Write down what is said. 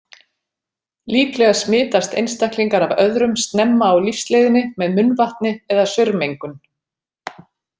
Líklega smitast einstaklingar af öðrum snemma á lífsleiðinni með munnvatni eða saurmengun.